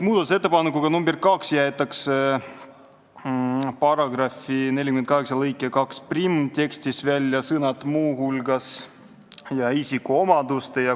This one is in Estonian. Muudatusettepanekuga nr 2 jäetakse § 48 lõike 21 tekstist, millega täiendatakse krediidiasutuste seadust, välja sõnad "muu hulgas" ja "isikuomaduste".